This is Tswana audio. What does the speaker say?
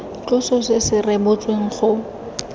tloso se se rebotsweng go